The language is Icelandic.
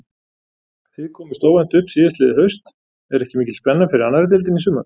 Þið komust óvænt upp síðastliðið haust, er ekki mikil spenna fyrir annarri deildinni í sumar?